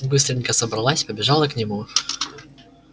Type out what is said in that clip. быстренько собралась побежала к нему